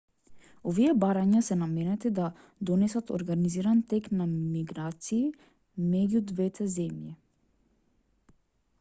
овие барања се наменети да донесат организиран тек на миграции меѓу двете земји